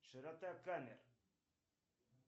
широта камер